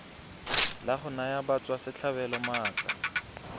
la go naya batswasetlhabelo maatla